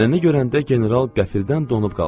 Nənəni görəndə general qəflədən donub qaldı.